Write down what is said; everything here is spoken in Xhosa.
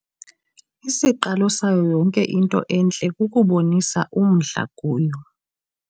Isiqalo sayo yonke into entle kukubonisa umdla kuyo.